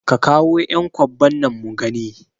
Ka kawo ƴan kwabban nan mugani